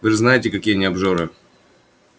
вы же знаете какие они обжоры